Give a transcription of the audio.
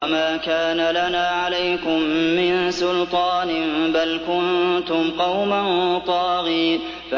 وَمَا كَانَ لَنَا عَلَيْكُم مِّن سُلْطَانٍ ۖ بَلْ كُنتُمْ قَوْمًا طَاغِينَ